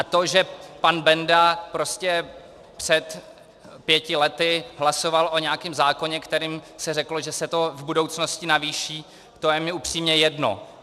A to, že pan Benda prostě před pěti lety hlasoval o nějakém zákoně, kterým se řeklo, že se to v budoucnosti navýší, to je mi upřímně jedno.